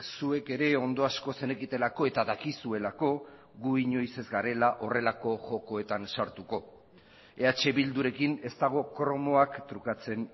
zuek ere ondo asko zenekitelako eta dakizuelako gu inoiz ez garela horrelako jokoetan sartuko eh bildurekin ez dago kromoak trukatzen